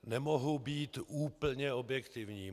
Nemohu být úplně objektivní.